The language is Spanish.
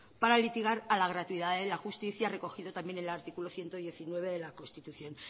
para litigar a la gratuidad de la justicia recogido también en el artículo ciento diecinueve de la constitución